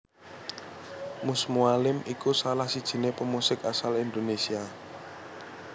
Mus Mualim iku salah sijiné pemusik asal Indonesia